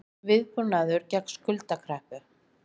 Viðbúnaður gegn skuldakreppu